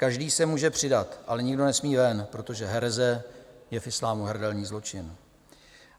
Každý se může přidat, ale nikdo nesmí ven, protože hereze je v islámu hrdelní zločin.